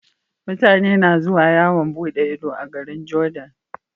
Mutane na zuwa yawan buɗe Ido a garin jordan